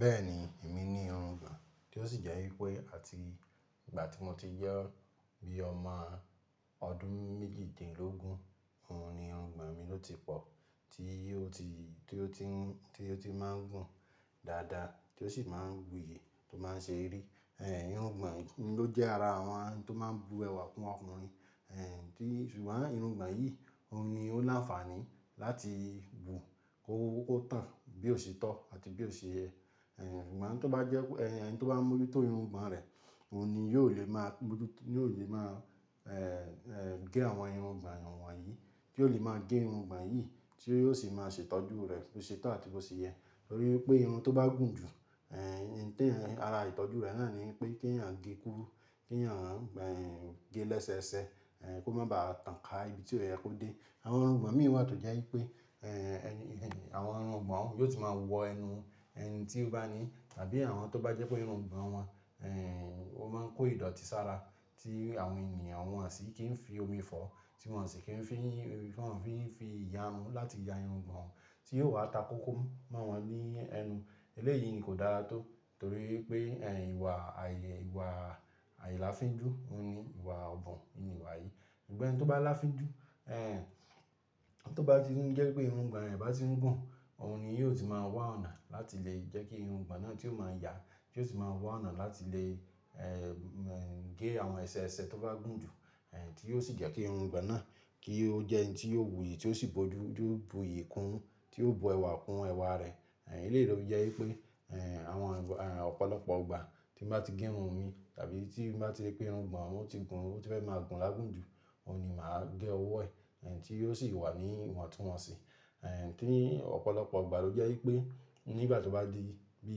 Bẹ́ẹ̀ni, èmi ní irun gbàn tí ó sì jẹ́ wípé àti ìgbà tí mo ti jẹ́ bí ọmọ ọdún méjìdínlógún, òun ni irun gbàn mi ló ti pọ̀ tí ó ti, tí ó ti ń, tí ó ti má ń gùn dáadáa tí ó sì má ń wù yè tó má ń ṣe rí. Ẹ̀ irun gbàn mi ló jẹ́ ara àwọn tó má ń bu ẹwà kún ọkùnrin. Ẹ̀ tí ṣùgbọ́n irun gbàn yìí òun ni ó láǹfààní láti gùn kó ó tàn bí ó sì tọ́ àti bí ó sì yẹ. Ẹ̀ gbàn tó bá jẹ́ pé ẹni tí ó bá mú ojútó irun gbàn rẹ̀, òun ni yóò lè máa mú ojútó, yóò lè máa, ẹ̀, ẹ̀ gẹ́ àwọn irun gbàn àwọn yìí, tí yóò lè máa gé irun gbàn yìí tí yóò sì máa ṣe ìtọ́jú rẹ̀ bí ó sì tọ́ àti bí ó sì yẹ. Torí pé irun tó bá gùn jù, ẹ̀, tí ẹ̀, ara ìtọ́jú rẹ̀ náà ni pé kí èèyàn gé e kúrú, kí èèyàn, ẹ̀ gẹ́ e lẹ́sẹẹsẹ, ẹ̀ kó má ba à tàn ká ibi tí o yẹ kó dé. Àwọn irungbon mi wà tó jẹ́ wípé, ẹ̀ ẹni, ẹni, àwọn irungbon hun yóò ti máa wọ ẹnu ẹni tí ó bá ní àbí àwọn tó bá jẹ́ pé irun gbàn wọn, ẹ̀ ó má n kó ìdọ̀tí sára tí àwọn ènìyàn wọn sì kí ń fi òmi fọ́, tí wọ́n sì kí ń fi, wọ́n fi, fi ìyàrun láti ya irungbon wọn tí yóò wá ta kókó mọ́ wọn ní ẹnu. Eléyìí ni kò dára tó torí pé ẹ̀ ìwà ààyè, ìwà ài láfinjú òhun ni ìwà ọbun ni ìwà yìí. Sugbọn gbẹ́ ẹni tó bá láfinjú, ẹ̀ tó bá ti n jẹ́ pé irungbon rẹ̀ bá ti ń gùn, òhun ni yóò ti máa wá ọ̀nà láti lè jẹ́ kí irungbọ̀n náà tí ó máa yà, tí ó sì máa wá ọ̀nà láti lè, ẹ̀ gẹ́ àwọn ẹsẹeẹsẹ tó bá gùn jù, tí yóò sì jẹ́ kí irungbon náà kí ó jẹ́ in tí yóò wù yí tí ó sì bójú, ju bu iyì kún, tí ó bu ẹwà kún ẹwà rẹ̀. Ẹ̀ eléyìí ló fi jẹ́ wípé, ẹ̀ àwọn ìgbà, ẹ̀ ọ̀pọ̀lọpọ̀ ọgbà tí n bá ti gé irun mi tàbí tí n bá ti rí pé irungbon ohun ti gùn, ó ti fẹ́ máa gùn lágùn jù, òhun ni màá gé ọwọ́ ẹ̀, ẹ̀ tí yóò sì wà ní ìwon tun wọ́nsì. Ẹ̀ Tí ọ̀pọ̀lọpọ̀ igbà ló jẹ́ wípé nígbà tó bá di bí,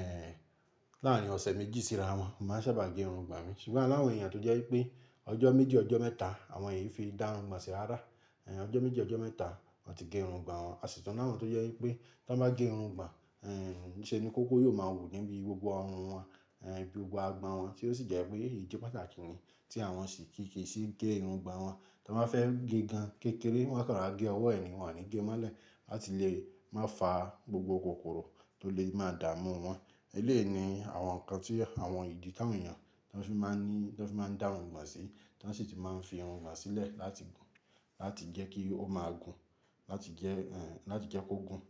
ẹ̀ láárín ọ̀sẹ̀ méjì sí ara wọn, mo màá n sábà gé irungbon mi. Ṣùgbọ́n ani àwọn èèyàn tó jẹ́ wípé ọjọ́ méjì, ọjọ́ mẹ́ta àwọn è fi dá irungbon sí ara. Ẹ̀ ọjọ́ méjì, ọjọ́ mẹ́ta wọ́n ti gé irungbon wọn. Àṣìtun ni áwọ̀n tó jẹ́ wípé tí wọ́n bá gé irungbon, ẹ̀ níṣe ni kókó yóò máa wù níbi gbogbo ọrùn wọn, ẹ̀ gbogbo agbọ́n wọn tí ó sì jẹ́ pé idi pàtàkì ni tí àwọn ò sì kí kì í sì gé irungbon wọn. Tí wọ́n bá fẹ́ gé gan kékeré, wọ́n kàn rora gé ọwọ́ ẹ̀ ni wọ́n ò ní gé mọ́lẹ̀ láti lè má fa gbogbo kòkòrò tó lè má dààmú wọn. Eléyìí ni àwọn nǹkan tí àwọn ìdí tawọn èèyàn tí wọ́n fi máa ní, tí wọ́n fi máa dá irungbon sí, tí wọ́n sì ti máa ń fi irungbon sílẹ̀ láti gùn, láti jẹ́ kí ó máa gùn, láti jẹ́, ẹ̀ láti jẹ́ kó gùn.